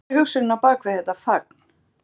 En hver er hugsunin á bak við þetta fagn?